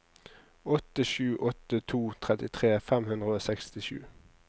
åtte sju åtte to trettitre fem hundre og sekstisju